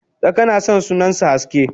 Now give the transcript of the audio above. Tsaka nason sunasan haske